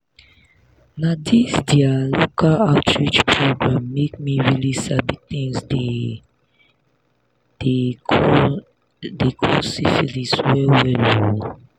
na this their local outreach program make me really sabi things they dey call dey call syphilis well well oo